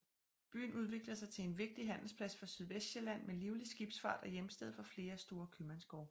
Byen udviklede sig til en vigtig handelsplads for Sydvestsjælland med livlig skibsfart og hjemsted for flere store købmandsgårde